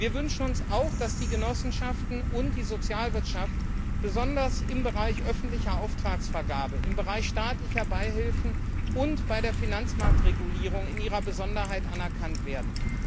Wir wünschen uns auch, dass die Genossenschaften und die Sozialwirtschaft besonders im Bereich öffentlicher Auftragsvergabe und staatlicher Beihilfen sowie bei der Finanzmarktregulierung in ihrer Besonderheit anerkannt werden.